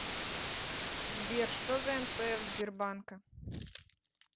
сбер что за нпф сбербанка